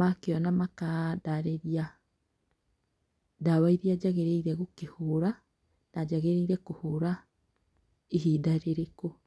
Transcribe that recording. makĩona makandarĩria ndawa iria njagĩrĩire gũkĩhũra, na njagĩrĩire kũhũra ihinda rĩrĩkũ.